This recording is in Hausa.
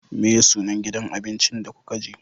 Meye sunan gidan abincin da kuka je?